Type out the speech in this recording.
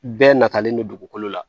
Bɛɛ natalen don dugukolo la